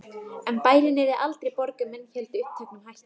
En bærinn yrði aldrei borg ef menn héldu uppteknum hætti.